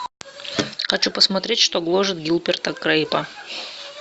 хочу посмотреть что гложет гилберта грейпа